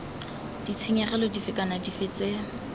ditshenyegelo dife kana dife tse